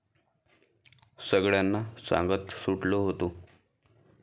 सगळ्यांना सांगत सुटलो होतो.